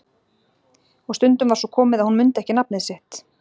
Og stundum var svo komið að hún mundi ekki nafnið sitt.